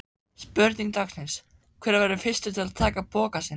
Spurning dagsins: Hver verður fyrstur til að taka pokann sinn?